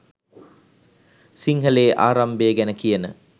සිංහලයේ ආරම්භය ගැන කියන